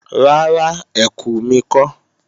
Rárá, ẹkù mi kọ́